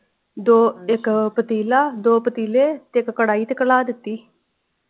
ਦੋ ਇਕ ਪਤੀਲਾ ਦੋ ਪਤੀਲੇ ਤੇ ਇਕ ਕੜਾਈ ਤੇ ਕਲਾ ਦਿਤੀ।